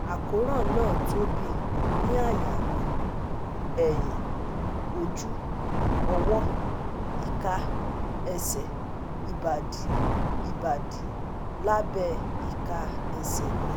Àkóràn náà tóbi ní àyà mi, ẹ̀yìn, ojú, ọwọ́, ika, ẹsẹ̀, ìbàdí, ìbàdí, lábẹ́ ìka ẹsẹ̀ mi